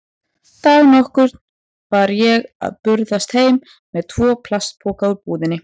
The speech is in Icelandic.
Dag nokkurn var ég að burðast heim með tvo plastpoka úr búðinni.